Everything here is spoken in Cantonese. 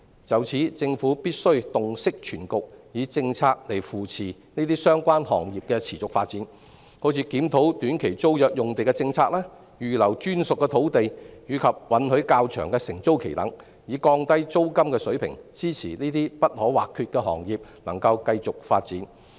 就此，政府必須洞悉全局，以政策扶持這些行業的持續發展，例如檢討短期租約用地的政策、預留專屬土地及允許較長的承租期等，以降低租金水平，支持這些不可或缺的行業持續發展。